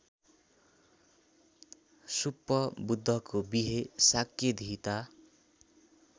सुप्पबुद्धको विहे शाक्यधीता